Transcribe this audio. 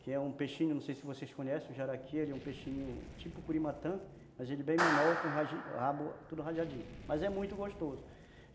que é um peixinho, não sei se vocês conhecem, o jaraqui, ele é um peixinho tipo curimatã, mas ele é bem menor, com o rabo tudo rajadinho, mas é muito gostoso.